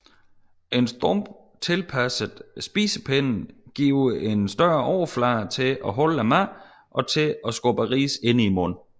Stump tilpasset spisepinde giver en større overflade til at holde maden og til at skubbe ris ind i munden